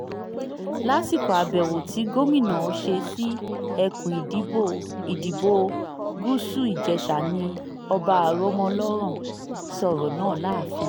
lásìkò àbẹ̀wò tí gómìnà ṣe sí ẹkùn ìdìbò gúúsù ìjèṣà ni ọba aromọlọ́rán sọ̀rọ̀ náà láàfin rẹ̀